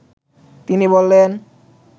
তিনি বলেন